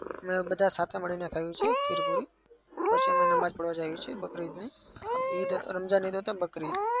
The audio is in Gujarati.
અને બધા સાથે મળીને ખાઈએ છીએ ખીર-પૂરી. પછી અમે નમાજ પઢવા જઈએ છીએ બકરી ઈદની